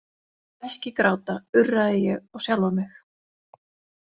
Ekki gráta, urraði ég á sjálfa mig.